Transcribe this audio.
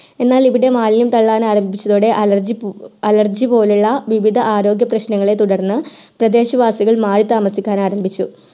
എന്നാൽ ഇവിടെ മാലിന്യം തള്ളാൻ ആരംഭിച്ചതോടെ allergy പോലെയുള്ള വിവിധ ആരോഗ്യ പ്രശ്നങ്ങളെ തുടർന്ന് പ്രദേശവാസികൾ മാറി താമസിക്കാൻ ആരംഭിച്ചു